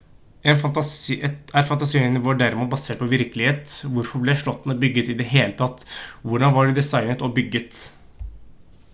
er fantasien vår derimot basert på virkelighet hvorfor ble slottene bygget i det hele tatt hvordan var de designet og bygget